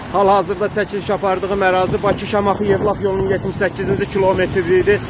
Hal-hazırda çəkiliş apardığım ərazi Bakı-Şamaxı-Yevlax yolunun 78-ci kilometrliyidir.